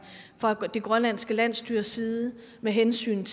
fra det grønlandske landsstyres side med hensyn